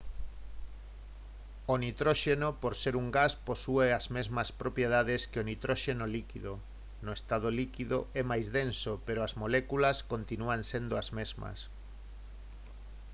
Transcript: o nitróxeno por ser un gas posúe as mesmas propiedades que o nitróxeno líquido no estado líquido é máis denso pero as moléculas continúan sendo as mesmas